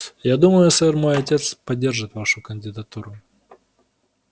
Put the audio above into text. я думаю сэр мой отец поддержит вашу кандидатуру